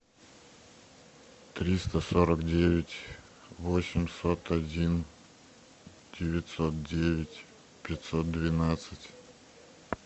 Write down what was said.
триста сорок девять восемьсот один девятьсот девять пятьсот двенадцать